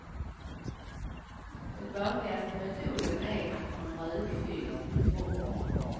Den vanligaste metoden är att man rökfyller ett rum.